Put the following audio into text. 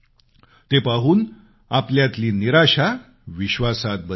ते पाहून आपल्यातली निराशा विश्वासात बदलेल